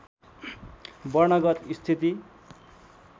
वर्णगत स्थिति